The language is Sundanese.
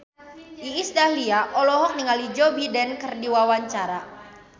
Iis Dahlia olohok ningali Joe Biden keur diwawancara